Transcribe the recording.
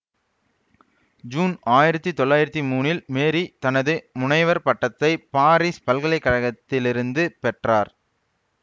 June ஆயிரத்தி தொள்ளாயிரத்தி மூனில் மேரீ தனது முனைவர் பட்டத்தை பாரிஸ் பல்கலைகழகத்திலிருந்து பெற்றார்